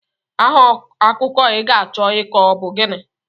Aha akụkọ I ga-achọ ịkọ ọ bụ gịnị?